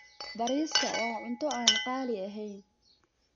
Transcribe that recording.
Bariiska waa cunto aan qaali ahayn.